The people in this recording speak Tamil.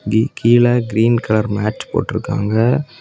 கி_கீழ கிரீன் கலர் மேட் போட்ருக்காங்க.